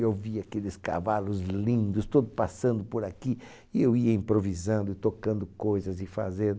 Eu via aqueles cavalos lindos todo passando por aqui e eu ia improvisando, tocando coisas e fazendo.